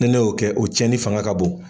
Ni ne y'o kɛ, o tiɲɛn ni fanga ka bon.